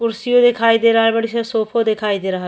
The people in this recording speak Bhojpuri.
कुर्सियों दिखाई दे रहल बाड़ी स सोफो दिखाई दे रहल --